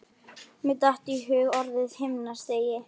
Mér datt í hug orðið himnastigi.